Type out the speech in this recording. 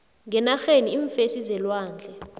ngenarheni iimfesi zelwandle